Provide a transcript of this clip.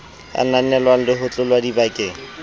ananelwang le ho tlotlwa dibakeng